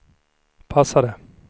passade